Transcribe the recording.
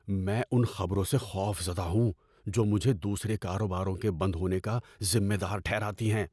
میں ان خبروں سے خوفزدہ ہوں جو مجھے دوسرے کاروباروں کے بند ہونے کا ذمہ دار ٹھہراتی ہیں۔